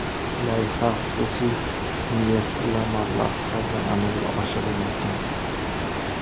Loyiha xususiy investorlar mablag‘i hisobidan amalga oshirilmoqda.